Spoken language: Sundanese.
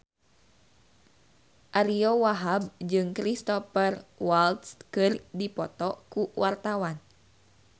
Ariyo Wahab jeung Cristhoper Waltz keur dipoto ku wartawan